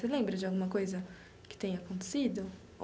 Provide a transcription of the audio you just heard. Você lembra de alguma coisa que tenha acontecido?